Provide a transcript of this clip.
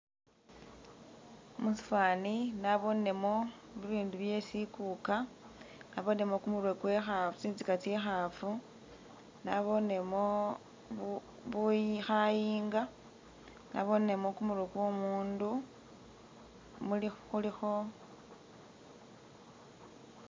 Musifani nabonemo bibindu byesikuka nabonemo kumurye kwekhafu, tsitsika tsekhafu nabonemo kha-bu khayinga nabonemo kumurye kwomundu muli khulikho